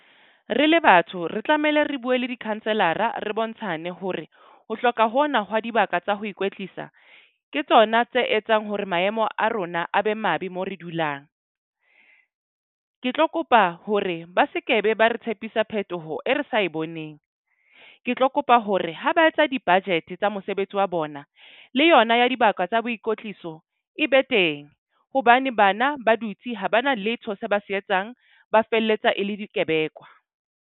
Re le batho re tlamehile, re bue le di-councilor-ra re bontshane hore ho hloka hona hwa dibaka tsa ho ikwetlisa. Ke tsona tse etsang hore maemo a rona a be mabe mo re dulang. Ke tlo kopa hore ba sekebe ba re tshepisa phetoho e re sa boneng. Ke tlo kopa hore ha ba etsa di-budget tsa mosebetsi wa bona le yona ya dibaka tsa boikotliso e be teng. Hobane bana ba dutse ha ba na letho se ba se etsang, ba felletsa e le dikebekwa.